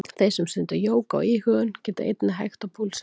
Þeir sem stunda jóga og íhugun geta einnig hægt á púlsinum.